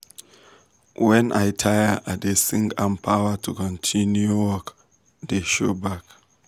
when i taya i da sing and power to continue work da show back